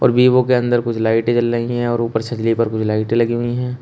Vivo के अंदर कुछ लाइटें जल रही हैं और ऊपर छजले पर कुछ लाइटें लगी हुई हैं।